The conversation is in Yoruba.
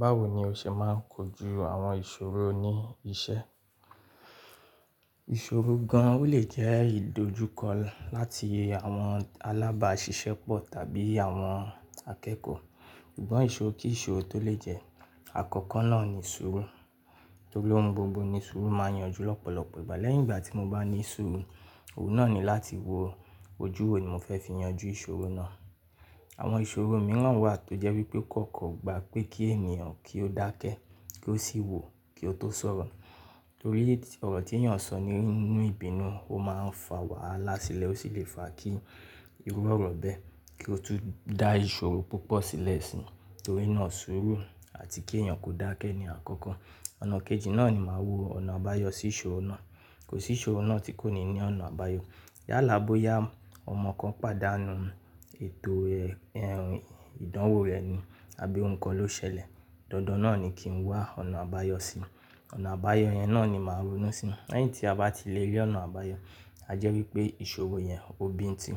Báwo ni o ṣe máa ń kojú àwọn ìṣòro ní iṣẹ́? Ìṣòro gan an o lè jẹ́ ìdojúkọ láti àwọn alábàáṣiṣẹ́pọ̀ tàbí àwọn akẹ́kọ̀ọ́. Ìgbọ́n ìṣòro kí ìṣòro tó lè jẹ́. Àkọ́kọ́ náà ni sùúrù. Nítorí pé gbogbo ní sùúrù máa yanjú lọ́pọ̀lọpọ̀ ìgbà. Lẹ́yìn ìgbà tí mo bá ní sùúrù, òun náà ni láti wo ojú wo ni mo fẹ́ fi yanjú ìṣòro náà. Àwọn ìṣòro mìíràn wà tó jẹ́ wípé kò kọ́ gba pé kí ènìyàn kí ó dákẹ́, kí ó sì wò, kí ó tó sọ̀rọ̀. Torí ọ̀rọ̀ tí ènìyàn sọ nínú ìbínú, ó máa ń fa wàhálà sílẹ̀, ó sì lè fa kí irú ọ̀rọ̀ bẹ́ẹ̀ kí ó tún dá ìṣòro púpọ̀ sílẹ̀ síi. Torí náà sùúrù àti kí ènìyàn kó dákẹ́ ni àkọ́kọ́. Ọ̀nà kejì náà ni màá wo ọ̀nà àbáyọ sí ìṣòro náà. Kò sí ìṣòro náà tí kò ní ní ọ̀nà àbáyọ. Yálà bóyá ọmọ kan pàdánù eto rẹ́ ìdánwò rẹ̀ ni àbí ohun kan ló ṣẹlẹ̀, dandan náà ni kí n wá ọ̀nà àbáyọ síi. Ọ̀nà àbáyọ yẹn náà ni màá ronú síi. Lẹ́yìn tí a bá ti lè rí ọ̀nà àbáyọ, a jẹ́ wípé ìṣòro yẹn ò bíi nti.